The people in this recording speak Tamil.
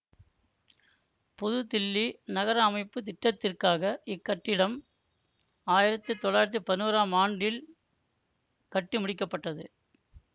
புதுதில்லி நகர அமைப்பு திட்டத்திற்காக இக்கட்டிடம் ஆயிரத்தி தொள்ளாயிரத்தி பதினோராம் ஆண்டில் கட்டி முடிக்க பட்டது